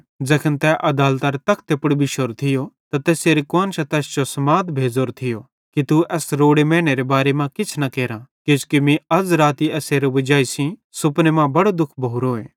ज़ैखन तै आदालतरी तखते पुड़ बिशोरो थियो त तैसेरी कुआन्शां तैस जो समाद भेज़ोरो थियो कि तू एस रोड़े मैनेरे बारे मां किछ न करां किजोकि मीं अज़ राती एसेरी वजाई सेइं सुपने मां बड़ो दुःख भोरोए